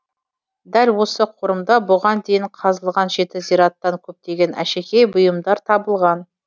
дәл осы қорымда бұған дейін қазылған жеті зираттан көптеген әшекей бұйымдар табылған